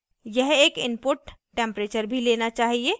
यह एक input temperature भी लेना चाहिए